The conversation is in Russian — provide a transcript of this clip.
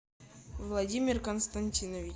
владимир константинович